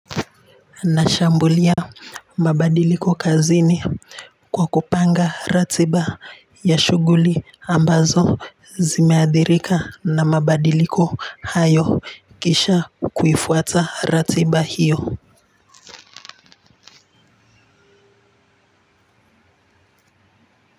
Nashambulia mabadiliko kazini kwa kupanga ratiba ya shuguli ambazo zimeadhirika na mabadiliko hayo kisha kuifuata ratiba hiyo.